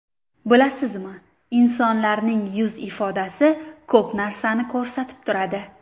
Bilasizmi, insonlarning yuz ifodasi ko‘p narsani ko‘rsatib turadi.